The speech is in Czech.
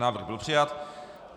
Návrh byl přijat.